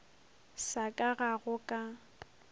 sa ka ga go ka